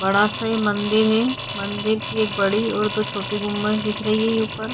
बड़ा सा ये मंदिर है मंदिर की एक बड़ी और दो छोटी गुंबद दिख रही है ये ऊपर।